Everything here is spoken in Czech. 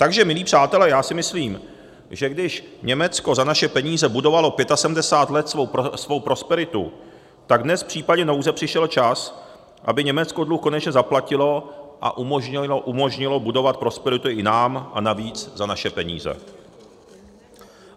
Takže milí přátelé, já si myslím, že když Německo za naše peníze budovalo 75 let svou prosperitu, tak dnes v případě nouze přišel čas, aby Německo dluh konečně zaplatilo a umožnilo budovat prosperitu i nám a navíc za naše peníze.